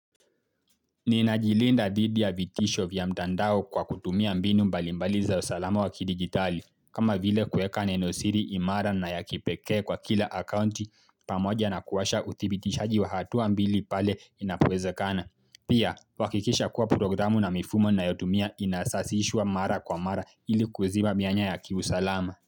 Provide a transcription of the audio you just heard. Ninajilinda dhidi ya vitisho vya mtandao kwa kutumia mbinu mbalimbali za usalama wakidigitali, kama vile kueka neno siri imara na ya kipeke kwa kila akaunti pamoja na kuwasha udhibitishaji wa hatu ambili pale inapowezekana. Pia, kuhakikisha kuwa programu na mifumo ninayotumia inasasishwa mara kwa mara ili kuiziba mianya ya kiusalama.